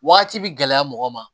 Wagati bɛ gɛlɛya mɔgɔ ma